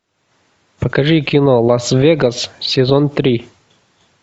покажи кино лас вегас сезон три